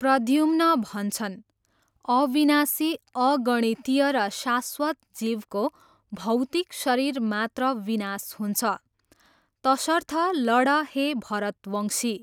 प्रद्युम्न भन्छन्, अविनाशी अगणितीय र शाश्वत जीवको भौतिक शरीर मात्र विनाश हुन्छ तसर्थ लड हे भरतवंशी!